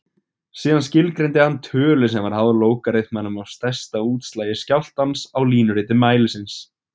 Síðan skilgreindi hann tölu sem var háð lógariþmanum af stærsta útslagi skjálftans á línuriti mælisins.